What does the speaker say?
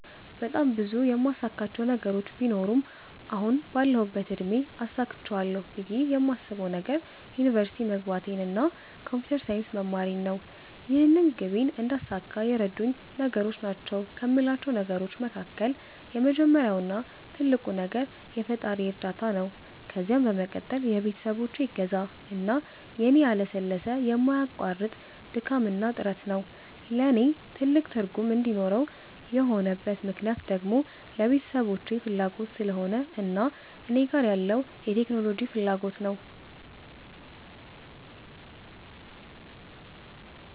በጣም ብዙ የማሳካቸው ነገሮች ቢኖሩም አሁን ባለሁበት እድሜ አሳክቸዋለሁ ብየ የማስበዉ ነገር ዩኒቨርሲቲ መግባቴን እና ኮንፒተር ሳይንስ መማሬን ነው። ይህንን ግቤን እንዳሳካ የረዱኝ ነገሮች ናቸዉ ከሞላቸው ነገሮች መካከል የመጀመሪያው እና ትልቁ ነገር የፈጣሪየ እርዳታ ነዉ ከዛም በመቀጠል የቤተሰቦቼ እገዛ እና የኔ ያለሰለሰ የማያቋርጥ ድካምና ጥረት ነዉ። ለኔ ትልቅ ትርጉም እንዲኖረው የሆነበት ምክነያት ደግሞ የቤተሰቦቼ ፋላጎት ስለሆነ እና እኔ ጋር ያለዉ የቴክኖሎጂ ፋላጎት ነዉ።